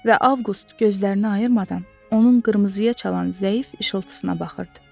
Və Avqust gözlərini ayırmadan onun qırmızıya çalan zəif işıltısına baxırdı.